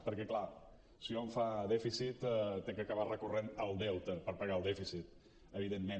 perquè clar si hom fa dèficit ha d’acabar recorrent al deute per pagar el dèficit evidentment